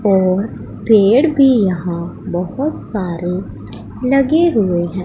और पेड़ भी यहां बहोत सारे लगे हुए हैं।